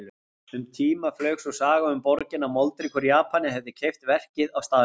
Um tíma flaug sú saga um borgina að moldríkur Japani hefði keypt verkið á staðnum.